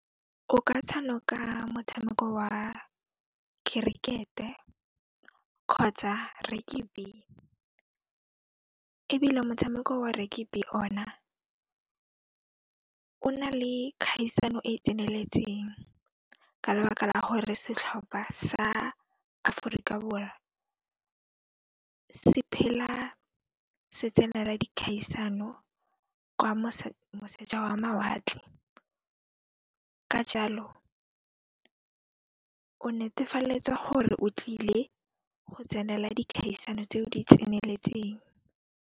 O ka tshanoka motshameko wa khirikete kgotsa ebile motshameko wa ona, o na le kgaisano e e tseneletseng ka lebaka la gore setlhopha sa Aforika Borwa se phela se tsenela dikgaisano kwa moseja wa mawatle, ka jaalo o netefaletsa gore o tlile go tsenela dikgaisano tseo di tseneletseng.